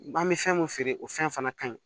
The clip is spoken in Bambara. An bɛ fɛn mun feere o fɛn fana ka ɲi